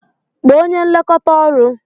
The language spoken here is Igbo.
Kpọọ onye nlekọta ọrụ!